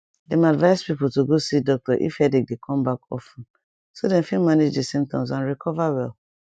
dem advise people to go see doctor if headache dey come back of ten so dem fit manage di symptoms and recover well